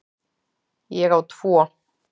Ég á tvo.